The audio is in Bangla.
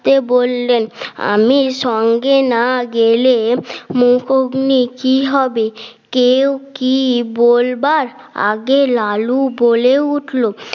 কে বললেন আমি সঙ্গে না গেলে মুখউগনি কি হবে কেউ কি বলবার আগে লালু বলে উঠলো